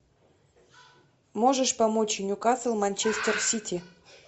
можешь помочь ньюкасл манчестер сити